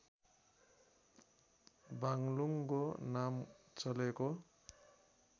बाग्लुङगको नाम चलेको